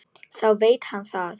Þá veit hann það!